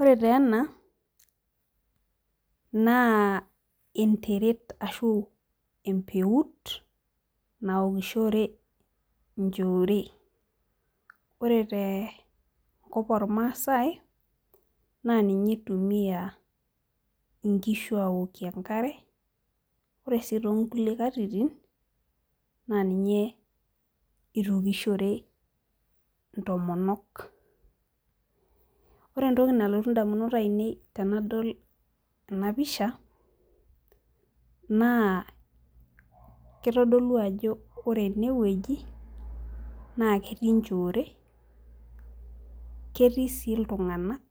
Ore taa ena naa entered ashu empeut, naokishore nchore. ore tenakop oormaasae. naa ninye itumia nkishu aaokie enkare. ore sii too nkulie katitin. naa ninye itooskishore intomonok. ore entoki nalotu idamunot ainei tenadol ena pisha naa kitodolu ajo ore ene wueji, naa ketii nchoore. ketii sii iltunganak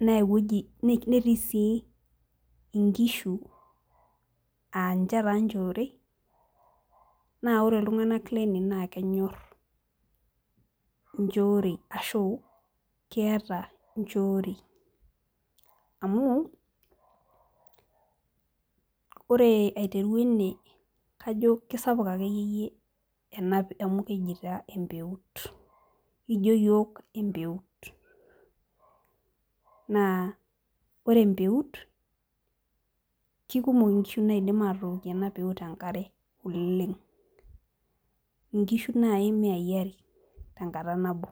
naa ewueji. netii sii inkishu, aaninche taa nchore .naa ore iltunganak Lene naa kenyor nchorei ashu keeta nchoorei. amu ore aiteru ene kajo kisapuk akeyiyie. amu keji taa empeut. ekijo iyiook empeut. naa ore empeut kikumok inkishu naidim atookie ena peut enkare. ooleng. inkishu naaji imiai are tenkata nabo.